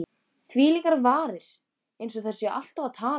Þvílíkar varir,- eins og þær séu alltaf að tala.